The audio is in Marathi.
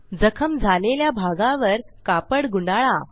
जखम झालेल्या भागावर कापड गुंडाळा